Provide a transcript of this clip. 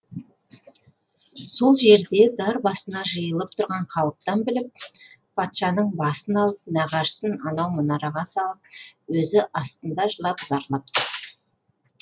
сол жерде дар басына жиылып тұрған халықтан біліп патшаның басын алып нағашысын анау мұнараға салып өзі астында жылап зарлап тұр